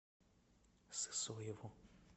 сысоеву